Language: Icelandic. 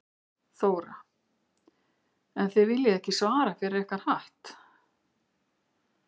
Þóra: En þið viljið ekki svara fyrir ykkar hatt?